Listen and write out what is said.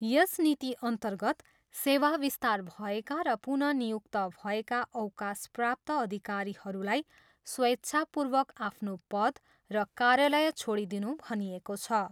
यस नीतिअन्तर्गत सेवा विस्तार भएका र पुनः नियुक्त भएका अवकाशप्राप्त अधिकारीहरूलाई स्वेच्छापूर्वक आफ्नो पद र कार्यालय छोडिदिनू भनिएको छ।